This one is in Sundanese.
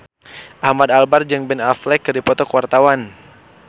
Ahmad Albar jeung Ben Affleck keur dipoto ku wartawan